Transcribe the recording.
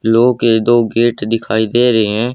लौह के दो गेट दिखाई दे रहे हैं।